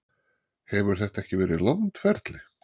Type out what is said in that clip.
Hefur þetta ekki verið langt ferli?